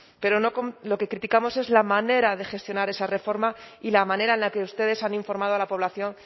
pero lo que criticamos es la manera de gestionar esa reforma y la manera en la que ustedes han informado a la población